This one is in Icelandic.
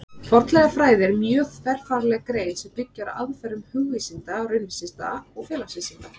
Fornleifafræði er mjög þverfagleg grein sem byggir á aðferðum hugvísinda, raunvísinda og félagsvísinda.